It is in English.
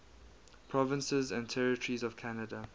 provinces and territories of canada